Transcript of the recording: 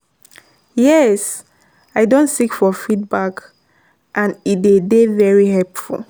Yes, i don seek for feedback, and e dey dey very helpful.